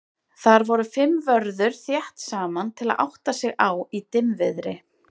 Þar voru fimm vörður þétt saman til að átta sig á í dimmviðri.